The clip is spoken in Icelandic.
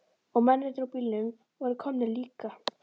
Og mennirnir úr bílunum voru komnir líka.